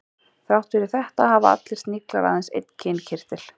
Þrátt fyrir þetta hafa allir sniglar aðeins einn kynkirtil.